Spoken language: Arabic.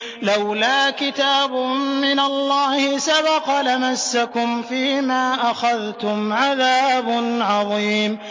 لَّوْلَا كِتَابٌ مِّنَ اللَّهِ سَبَقَ لَمَسَّكُمْ فِيمَا أَخَذْتُمْ عَذَابٌ عَظِيمٌ